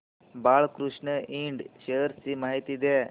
Balkrishna Ind shares ची माहिती द्या